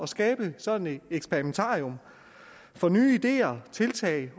skabe sådan et eksperimentarium for nye ideer og tiltag